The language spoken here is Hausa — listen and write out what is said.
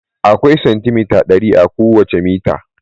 Akwai santimita dari a kowace mita.